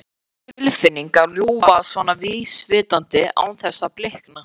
Skrýtin tilfinning að ljúga svona vísvitandi án þess að blikna.